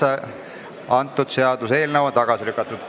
Seaduseelnõu 709 on tagasi lükatud.